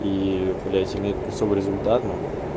и блять плюсовой результат ну